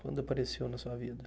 Quando apareceu na sua vida?